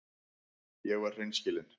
Ég var hreinskilin.